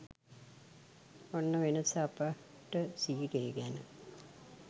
ඔන්න වෙනස අපට සීලය ගැන